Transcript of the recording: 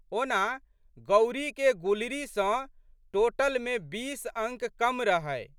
ओना, गौरीके गुलरी सँ टोटलमे बीस अंक कम रहै।